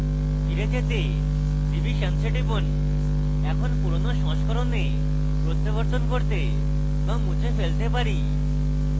ফিরে যেতে revisions we টিপুন এখন পুরোনো সংস্করণে প্রত্যাবর্তন করতে to মুছে ফেলতে পারি